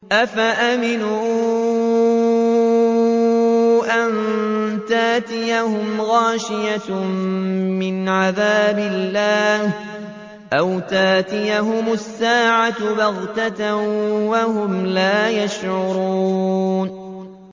أَفَأَمِنُوا أَن تَأْتِيَهُمْ غَاشِيَةٌ مِّنْ عَذَابِ اللَّهِ أَوْ تَأْتِيَهُمُ السَّاعَةُ بَغْتَةً وَهُمْ لَا يَشْعُرُونَ